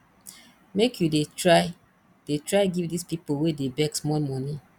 make you dey try dey try give dis pipo wey dey beg small moni